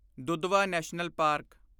Dudhwa national park